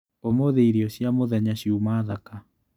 ũmũthĩ irio cia mũthenya ciuma thaka.